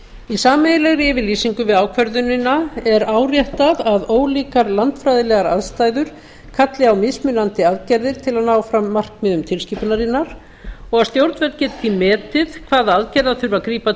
í sameiginlegri yfirlýsingu við ákvörðunina er áréttað að ólíkar landfræðilegar aðstæður kalli á mismunandi aðgerðir til að ná fram markmiðum tilskipunarinnar og að stjórnvöld gætu því metið á hverjum stað hvaða aðgerða þurfi að grípa